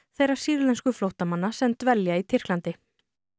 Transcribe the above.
þeirra sýrlensku flóttamanna sem dvelja í Tyrklandi